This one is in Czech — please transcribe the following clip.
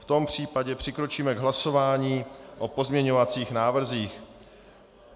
V tom případě přikročíme k hlasování o pozměňovacích návrzích.